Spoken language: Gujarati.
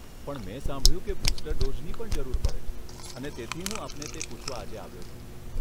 પણ મેં સાંભળ્યું કે બુસ્ટર ડોઝની પણ જરૂર પડે, અને તેથી હું આપણે તે પૂછવા આજે આવ્યો છું.